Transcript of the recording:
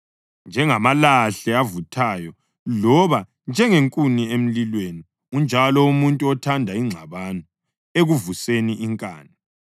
Njengamalahle avuthayo loba njengenkuni emlilweni, unjalo umuntu othanda ingxabano ekuvuseni inkani.